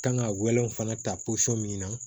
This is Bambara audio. Kan ka wɛlɛw fana ta posɔn min na